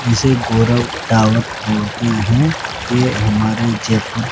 जिसे गौरव टॉवर बोलते हैं ये हमारे जयपुर--